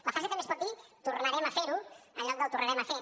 la frase també es pot dir tornarem a fer ho en lloc de ho tornarem a fer